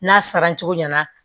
N'a saracogo ɲɛna